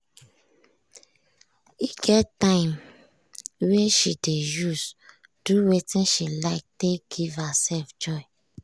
e get time wey she dey use do wetin she like take give herself joy.